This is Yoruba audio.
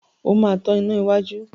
O máa tan iná iwájú.